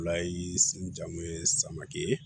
Fila ye sen jan mun ye samake ye